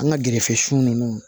An ka gɛrɛfɛsɔn ninnu